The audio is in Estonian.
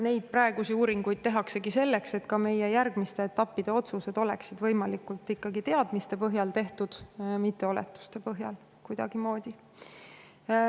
Praeguseid uuringuid tehaksegi selleks, et ka meie järgmiste etappide otsused oleksid võimalikult teadmiste põhjal tehtud, mitte kuidagimoodi oletuste põhjal.